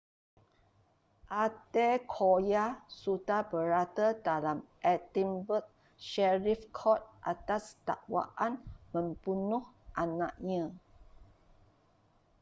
adekoya sudah berada dalam edinburgh sheriff court atas dakwaan membunuh anaknya